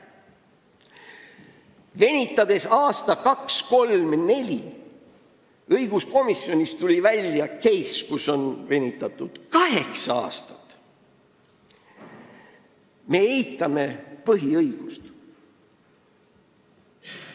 " Kui me venitame aasta, kaks, kolm või neli – õiguskomisjonis tuli välja case, kus on venitatud kaheksa aastat –, siis me eitame põhiõigust.